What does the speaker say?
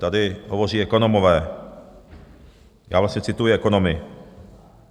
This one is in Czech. Tady hovoří ekonomové, já vlastně cituji ekonomy.